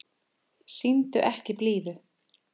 Sýndu ekki blíðu.